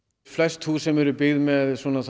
flest hús sem eru byggð með